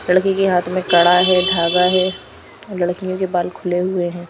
लड़की के हाथ में कड़ा है धागा है लड़कियों के बाल खुले हुए हैं।